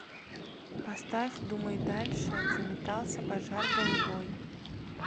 поставь думай дальше заметался пожар голубой